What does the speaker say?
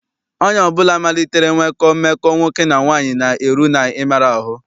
Onye ọbụla malitere nwekọ mmekọ nwoke na nwaanyị na-eru n'ịmara ahụ.